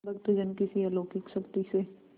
भक्तजन किसी अलौकिक शक्ति से